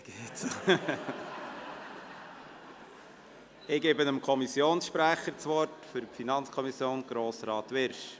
Ich gebe dem Kommissionssprecher der FiKo das Wort, Grossrat Wyrsch.